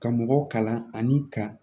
Ka mɔgɔw kalan ani ka